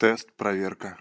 тест проверка